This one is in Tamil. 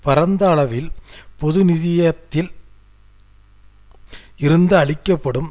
பரந்த அளவில் பொதுநிதியத்தில் இருந்து அளிக்க படும்